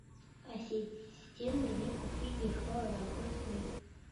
ассистент где купить дешевые огурцы